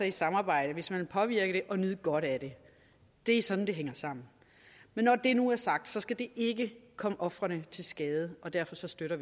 et samarbejde hvis man vil påvirke det og nyde godt af det det er sådan det hænger sammen men når det nu er sagt skal det ikke komme ofrene til skade og derfor så støtter